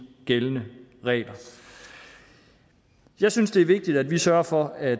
gældende regler jeg synes det er vigtigt at vi sørger for at